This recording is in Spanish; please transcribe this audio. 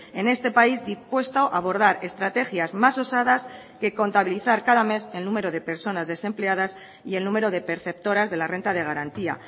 en este país dispuesto a abordar estrategias más osadas que contabilizar cada mes el número de personas desempleadas y el número de perceptoras de la renta de garantía